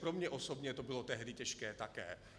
Pro mě osobně to bylo tehdy těžké také.